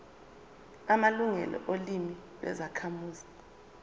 amalungelo olimi lwezakhamuzi